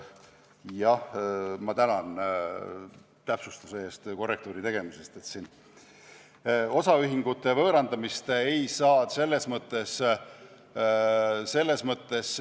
Jah, ma tänan täpsustuse eest, korrektiivi tegemise eest!